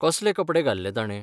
कसले कपडे घाल्ले ताणे?